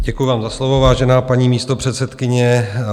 Děkuju vám za slovo, vážená paní místopředsedkyně.